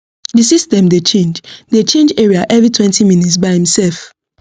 the system dey change dey change area everytwentyminutes by imself